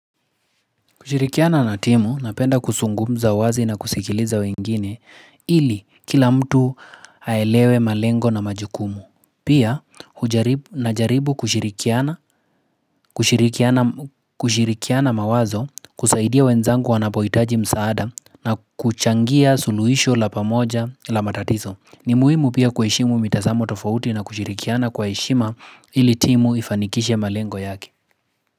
Kushirikiana na timu napenda kusungumza wazi na kusikiliza wengine ili kila mtu aelewe malengo na majukumu. Pia hujaribu najaribu kushirikiana kushirikiana mawazo kusaidia wenzangu wanapohitaji msaada na kuchangia suluhisho la pamoja la matatizo. Ni muhimu pia kuheshimu mitazamo tofauti na kushirikiana kwa heshima ili timu ifanikishe malengo yake.